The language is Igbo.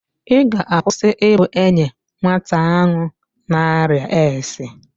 Ị ga̧-akwụsị i bu enye nwata ahụ n'arịa AIDS?